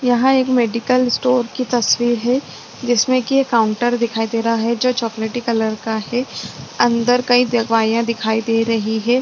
यहाँ एक medical store की तस्वीर है जिसमे की एक काउंटर दिखाई दे रहा है जो चोकलेटी कलर के है अंदर कई दवाइयाँ दिखाई दे रही है।